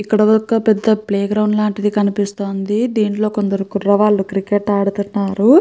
ఇక్కడ ఒక పేద ప్లే గ్రౌండ్ అయితే కనిపిస్తుంది. కొంత మంది పిల్లలు క్రికెట్ అడుతునారు.